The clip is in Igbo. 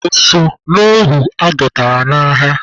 O so n'ohu adọtara n'agha?